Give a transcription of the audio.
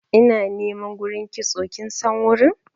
ina niman gurin kitso kinsan gurin?